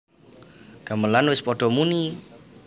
Gamelan wis padha muni